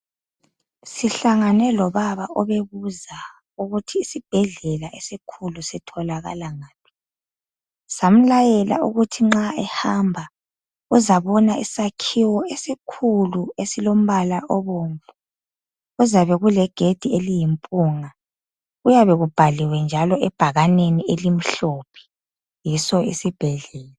Sihlangane lobaba obebuza ukuthi isibhedlela esikhulu sitholakala ngaphi. Samlayela ukuthi nxa ehamba uzabona isakhiwo esikhulu esilombala obomvu. Kuzabe kulegedi eliyimpunga. Kuyabekubhaliwe njalo ebhakaneni elimhlophe. Yiso isibhedlela.